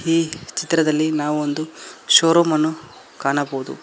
ಈ ಚಿತ್ರದಲ್ಲಿ ನಾವೊಂದು ಶೋರೂಮ್ ಅನ್ನು ಕಾಣಬಹುದು.